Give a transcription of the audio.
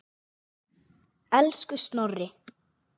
Elsku Snorri.